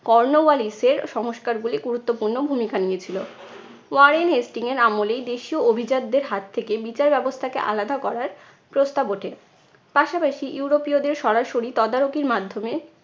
Cornwallis এর সংস্কারগুলি গুরুত্বপূর্ণ ভূমিকা নিয়েছিলো। ওয়ারেন হেস্টিং এর আমলেই দেশীয় অভিজাতদের হাত থেকে বিচার ব্যবস্থাকে আলাদা করার প্রস্তাব ওঠে। পাশাপাশি ইউরোপীয়দের সরাসরি তদারকির মাধ্যমে